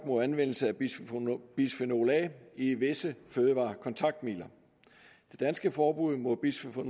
mod anvendelse af bisfenol a i visse fødevarekontaktmidler det danske forbud mod bisfenol